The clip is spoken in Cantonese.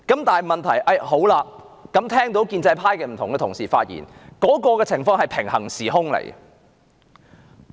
但是，聆聽建制派不同議員的發言，卻仿似身處平衡時空。